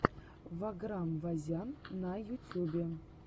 ваграм вазян на ютюбе